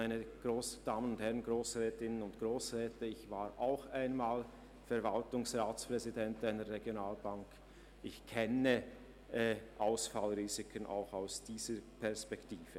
Ich war auch einmal Verwaltungsratspräsident einer Regionalbank und kenne Ausfallrisiken aus dieser Perspektive.